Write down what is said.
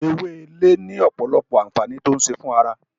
Ewé Ilé ni ọpọlọpọ awọn ànfàní ti o ń ṣe fún ará